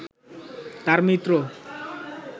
তার মিত্র